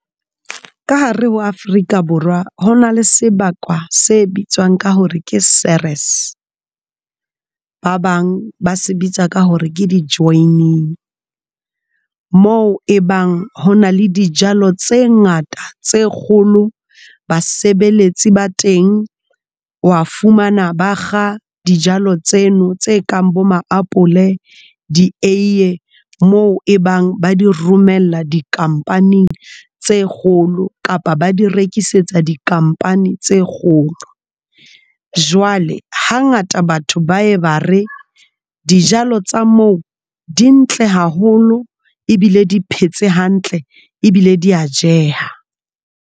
Ka hare ho Afrika Borwa hona le sebaka se bitswang ka hore ke Ceres ba bang ba se bitsa ka hore ke di-joining. Moo e bang ho na le dijalo tse ngata tse kgolo. Basebeletsi ba teng wa fumana, bakga dijalo tseno tse kang bo maapole di eiye mo e bang ba di romella dikampaneng tse kgolo kapa ba di rekisetsa dikampaneng tse kgolo jwale hangata batho ba e ba re dijalo tsa mo di ntle haholo ebile di phetse hantle ebile di ya jeha.